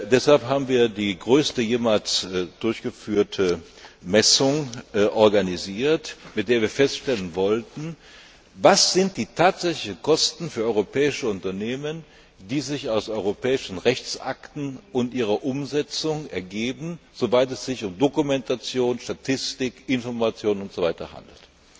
Deshalb haben wir die größte jemals durchgeführte Messung organisiert, mit der wir feststellen wollten, was die tatsächlichen Kosten für europäische Unternehmen sind, die sich aus europäischen Rechtsakten und ihrer Umsetzung ergeben, soweit es sich um Dokumentation, Statistik, Information usw. handelt.